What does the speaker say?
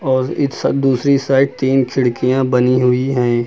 और दूसरी साइड तीन खिड़कियां बनी हुई हैं।